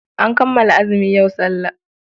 An kammala azumi, yau sallah.